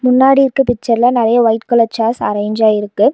முன்னாடி இருக்க பிச்சர்ல நெறைய ஒய்ட் கலர் சேர்ஸ் அரேன்ஜ் ஆயிருக்கு.